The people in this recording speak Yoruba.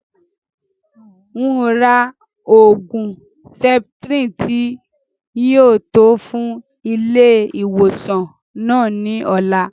N o rà oògùn septrin tí yìí ó tò fún ilé ìwòsàn náà ni ọ̀la